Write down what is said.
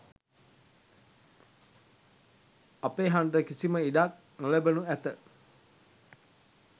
අපේ හඬට කිසිම ඉඩක් නොලැබෙනු ඇත.